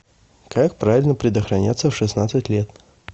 как правильно предохраняться в шестнадцать лет